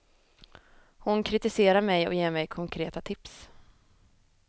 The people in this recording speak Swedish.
Hon kritiserar mig och ger mig konkreta tips.